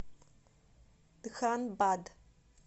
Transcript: дханбад